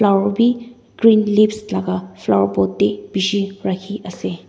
aro bi green leaves laga flower pot te bishi rakhi ase.